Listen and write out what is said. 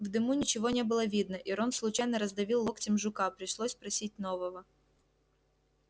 в дыму ничего не было видно и рон случайно раздавил локтем жука пришлось просить нового